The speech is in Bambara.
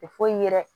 Tɛ foyi ye dɛ